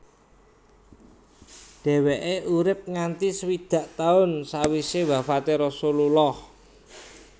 Dheweke urip nganti swidak taun sawise wafate Rasulullah